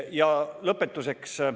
Ja lõpetuseks.